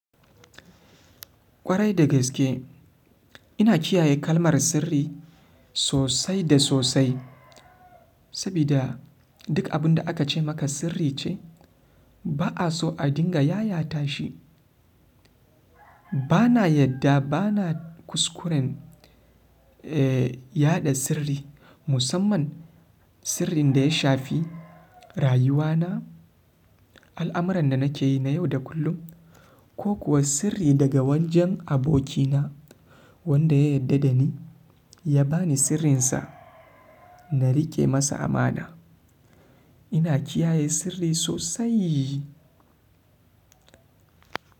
Kwarai da gaske ba a so a dinga yayata shi. Ba na yadda ba na kuskuran yaɗa sirri musamman sirrin da shafi rayuwana, al'amiran da nakeyi na yau da kullum ko kuwa sirri daga wajan abokina wanda ya yarda da ni ya ba ni sirrinsa na riƙe masa amana. Ina kiyaye sirri sosaiii.